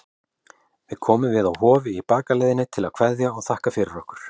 Við komum við á Hofi í bakaleiðinni til að kveðja og þakka fyrir okkur.